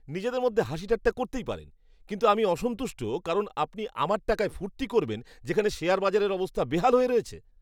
নিজেদের মধ্যে হাসিঠাট্টা করতেই পারেন কিন্তু আমি অসন্তুষ্ট কারণ আপনি আমার টাকায় ফুর্তি করবেন যেখানে শেয়ার বাজারের অবস্থা বেহাল হয়ে রয়েছে?